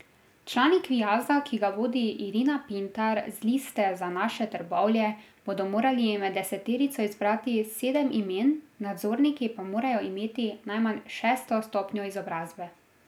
Člani kviaza, ki ga vodi Irina Pintar z Liste za naše Trbovlje, bodo morali med deseterico izbrati sedem imen, nadzorniki pa morajo imeti najmanj šesto stopnjo izobrazbe.